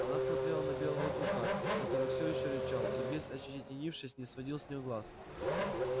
она смотрела на белого клыка который всё ещё рычал и весь ощетинившись не сводил с неё глаз